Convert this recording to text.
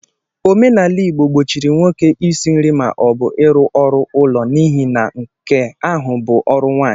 Omenala Igbo gbochiri nwoke isi nri ma ọ bụ i rụ ọrụ ụlọ n'ihi na nke ahụ bụ ọrụ nwaanyi.